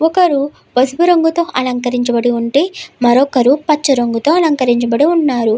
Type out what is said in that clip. ఒకరు పసుపు రంగుతో అలంకరించబడి ఉంటే మరొకరు పచ్చ రంగుతో అలంకరించబడి ఉన్నారు.